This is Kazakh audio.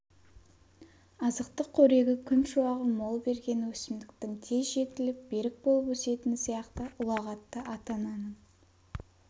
азықтық қорегі күн шуағы мол берген өсімдіктің тез жетіліп берік болып өсетіні сияқты ұлағатты ата-ананың